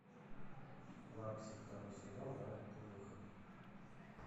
лапси второй сезон дата выхода